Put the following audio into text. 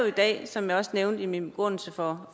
i dag som jeg også nævnte i min begrundelse for